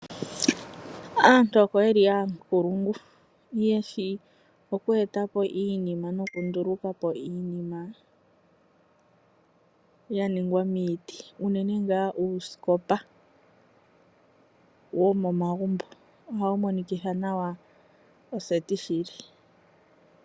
Aantu oko yeli yankulungu, yeshi okweetapo iinima noku ndulukapo iinima ya ningwa miiti, unene ngaa uuskopa womomagumbo, ohawu monikitha nawa oseti shili.